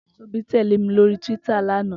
Tobi tèlé mi lóri túwìtá làná